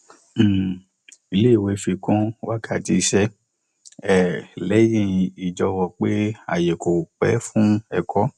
um ilé ìwé fi kún wákàtí iṣẹ um lẹyìn ìjọwọ pé ààyè kò pé fún ẹkọ